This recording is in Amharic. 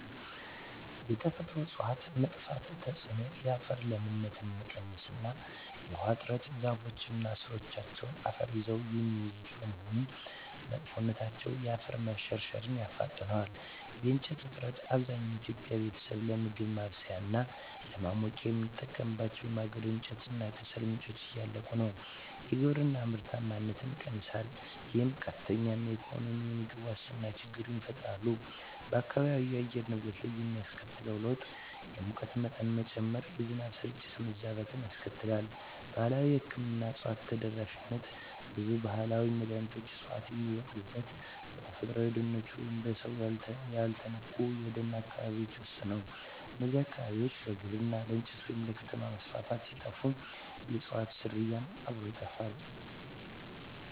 የተፈጥሮ እፅዋት መጥፋት ተጽዕኖ የአፈር ለምነት መቀነስ እና የውሃ እጥረ ዛፎች እና ሥሮቻቸው አፈርን ይዘው የሚይዙት በመሆኑ፣ መጥፋታቸው የአፈር መሸርሸርን ያፋጥነዋል። የእንጨት እጥረት፣ አብዛኛው የኢትዮጵያ ቤተሰብ ለምግብ ማብሰያ እና ለማሞቂያ የሚጠቀምባቸው የማገዶ እንጨት እና ከሰል ምንጮች እያለቁ ነው። የግብርና ምርታማነት ይቀንሳል፣ ይህም ቀጥተኛ የኢኮኖሚና የምግብ ዋስትና ችግር ይፈጥራል። በአካባቢው የአየር ንብረት ላይ የሚያስከትለው ለውጥ የሙቀት መጠን መጨመር፣ የዝናብ ስርጭት መዛባት ያስከትላል። ባህላዊ የሕክምና እፅዋት ተደራሽነት ብዙ ባህላዊ መድኃኒት ዕፅዋት የሚበቅሉት በተፈጥሮአዊ ደኖች ወይም በሰው ያልተነኩ የደን አካባቢዎች ውስጥ ነው። እነዚህ አካባቢዎች ለግብርና፣ ለእንጨት ወይም ለከተማ መስፋፋት ሲጠፉ፣ የእፅዋቱም ዝርያ አብሮ ይጠፋል።